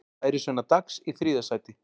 Lærisveinar Dags í þriðja sætið